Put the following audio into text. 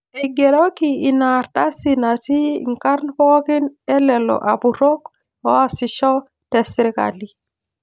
Eigeroki ina ardasi natii inkarrn pooki e lelo apurok oosisho te sirkali